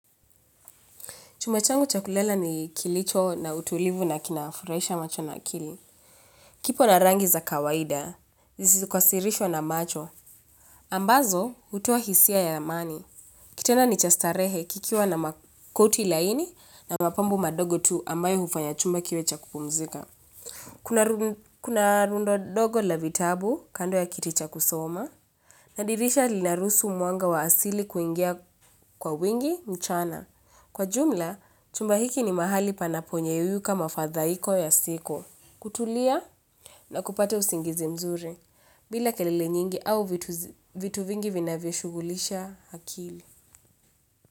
Chumba changu cha kulala ni kilicho na utulivu na kinafurahisha macho na akili. Kipo na rangi za kawaida, zisizokasirishwa na macho. Ambazo, hutoa hisia ya amani. Kitanda ni cha starehe kikiwa na makoti laini na mapambo madogo tu ambayo hufanya chumba kiwe cha kupumzika. Kuna rundo dogo la vitabu kando ya kiti cha kusoma. Na dirisha linaruhusu mwanga wa asili kuingia kwa wingi mchana. Kwa jumla, chumba hiki ni mahali panaponyeyuyuka mafathaiko ya siko, kutulia na kupata usingizi mzuri, bila kelele nyingi au vitu vingi vinavyoshugulisha akili.